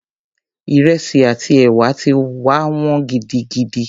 Ìrẹsì àti ẹ̀wà ti wá wọ́n gidigidi.